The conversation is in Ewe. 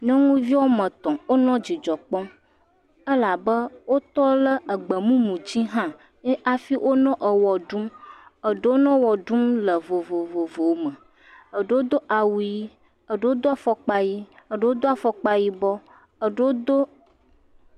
Nyɔnuvi woame tɔ̃ wonɔ dzidzɔ kpɔm elabe wotɔ le gbemumudzi hã ye afi wonɔ ewɔ ɖum. Eɖewo nɔ wɔ ɖum le vovovome. Eɖewo do awu yii, eɖewo do afɔkpa yii. Eɖewo do afɔkpa yibɔ, eɖewo do.